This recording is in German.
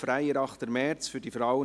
«Freier 8. März für die Frauen*